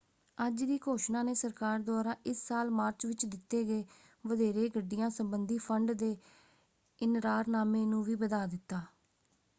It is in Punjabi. ਅੱਜ ਦੀ ਘੋਸ਼ਣਾ ਨੇ ਸਰਕਾਰ ਦੁਆਰਾ ਇਸ ਸਾਲ ਮਾਰਚ ਵਿੱਚ ਦਿੱਤੇ ਗਏ ਵਧੇਰੇ ਗੱਡੀਆਂ ਸੰਬੰਧੀ ਫੰਡ ਦੇ ਇਨਰਾਰਨਾਮੇ ਨੂੰ ਵੀ ਵਧਾ ਦਿੱਤਾ।